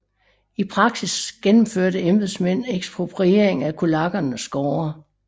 I praksis gennemførte embedsmænd ekspropriering af kulakkernes gårde